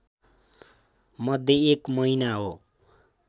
मध्ये एक महिना हो